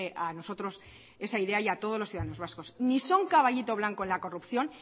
a nosotros esa idea y a todos los ciudadanos vascos ni son caballito blanco en la corrupción